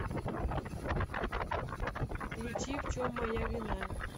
включи в чем моя вина